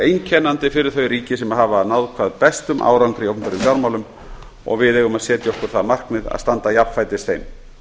einkennandi fyrir þau ríki sem hafa náð hvað bestum árangri í opinberum fjármálum og við eigum að setja okkur það markmið að standa jafnfætis þeim